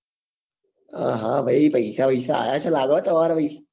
હા ભાઈ પૈસા બિસા આવ્યા છે લાગે હો તમારે ભાઈ